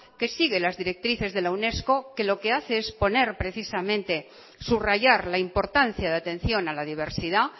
que sigue las directrices de la unesco que lo que hace es poner precisamente subrayar la importancia de atención a la diversidad